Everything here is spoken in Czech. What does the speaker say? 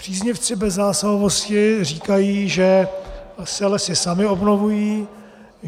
Příznivci bezzásahovosti říkají, že se lesy samy obnovují.